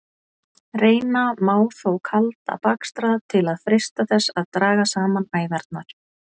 Reyna má þó kalda bakstra til að freista þess að draga saman æðarnar.